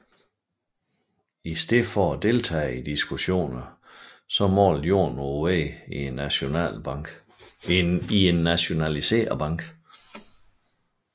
I stedet for at deltage i diskussionerne malede Jorn på væggene i en nationaliseret bank